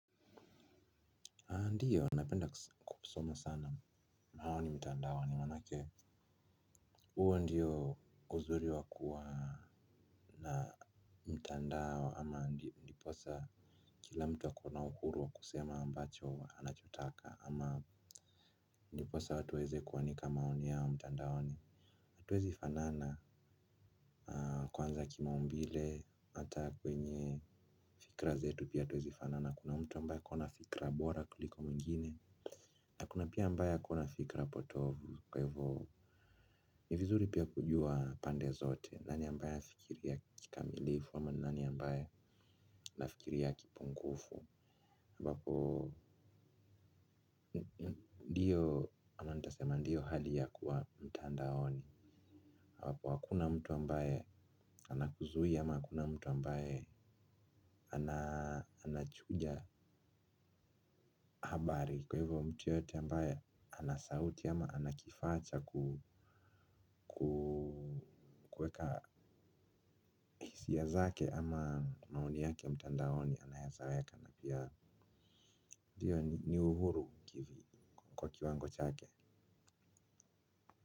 Ndio, napenda kusoma sana. Maoni mtandaoni, maanake. Huo ndio uzuri wa kuwa na mtandao ama ndiposa kila mtu ako na uhuru wa kusema ambacho anachotaka ama ndiposa watu waweze kuanika maoni yao mtandaoni. Hatuwezi fanana kwanza kimaumbile ata kwenye fikra zetu pia hatuwezi fanana. Kuna mtu ambaye ako na fikra bora kuliko mwingine. Na kuna pia ambaye ako na fikra potovu kwa hivyo ni vizuri pia kujua pande zote nani ambaye anafikiria kimilifu ama ni nani ambaya anafikiria kipungufu ambapo ndii ama nitasema ndii hali ya kuwa mtandaoni ambapo hakuna mtu ambaya anakuzuia ama hakuna mtu ambaye anachuja. Habari kwa hivyo mtu yoyote ambaya ana sauti ama ana kifaa cha kuweka hisia zake ama maoni yake mtandaoni anaweza weka na pia. Ndio ni uhuru kwa kiwango chake.